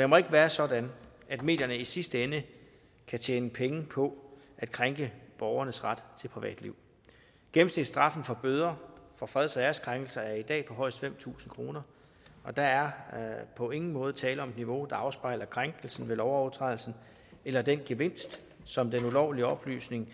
det må ikke være sådan at medierne i sidste ende kan tjene penge på at krænke borgernes ret til privatliv gennemsnitsstraffen for bøder for freds og æreskrænkelser er i dag på højst fem tusind kr og der er på ingen måde tale om et niveau der afspejler krænkelsen ved lovovertrædelsen eller den gevinst som den ulovlige oplysning